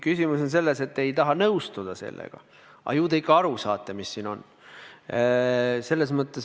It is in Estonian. Küsimus on selles, et te ei taha sellega nõus olla, aga ju te ikka saate aru, mis siin kirjas on.